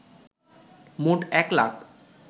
মোট ১ লাখ